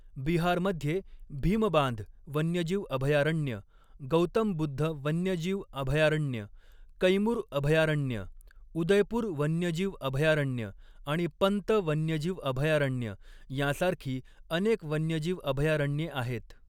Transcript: बिहारमध्ये भीमबांध वन्यजीव अभयारण्य, गौतम बुद्ध वन्यजीव अभयारण्य, कैमूर अभयारण्य, उदयपूर वन्यजीव अभयारण्य आणि पंत वन्यजीव अभयारण्य यांसारखी अनेक वन्यजीव अभयारण्ये आहेत.